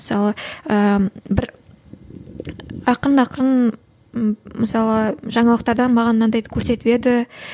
мысалы ыыы бір ақырын ақырын м мысалы жаңалықтардан маған мынандайды көрсетіп еді